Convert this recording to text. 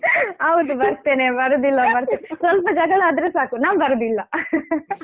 ಹೌದು ಬರ್ತೇನೆ ಬರುದಿಲ್ಲ ಬರ್ತೇನೆ ಸ್ವಲ್ಪ ಜಗಳ ಆದ್ರೆ ಸಾಕು ನಾನ್ ಬರುದಿಲ್ಲ